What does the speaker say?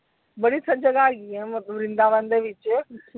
ਬੜੀ ਸਾਰੀ ਜਗ੍ਹਾ ਹੈਗੀ ਆ ਵ੍ਰਿੰਦਾਵਨ ਦੇ ਵਿਚ।